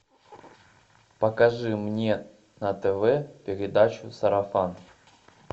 покажи мне на тв передачу сарафан